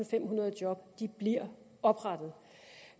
femhundrede job bliver oprettet